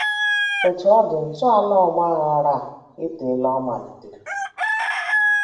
Otú ọ dị, ntọala ọgbaghara a etela ọ malitere.